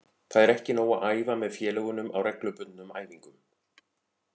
Það er ekki nóg að æfa með félögunum á reglubundnum æfingum.